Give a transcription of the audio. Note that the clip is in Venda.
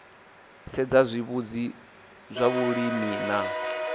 sedza zwitsivhudzi zwa vhulimi na